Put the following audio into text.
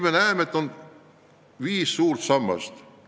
Me näeme, et sellel on viis suurt sammast.